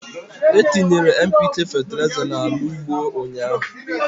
Etinyere NPK fetịlaịza n'ala ugbo a ụnyaahụ